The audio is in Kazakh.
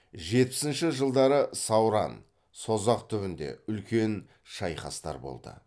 жетпісінші жылдары сауран созақ түбінде үлкен шайқастар болды